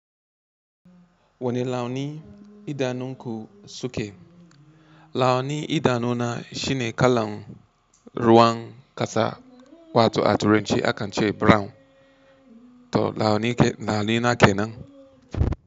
Wani launi idanu ku suke? Launi idanu na shine kalan ruwan ƙasa wato a turence akan ce brown. To launi na kenan.